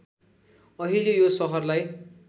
अहिले यो सहरलाई